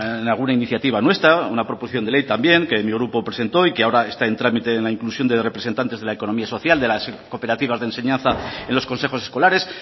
en alguna iniciativa nuestra una proposición de ley también que mi grupo presentó y que ahora está en trámite en la inclusión de representantes de la economía social de las cooperativas de enseñanza en los consejos escolares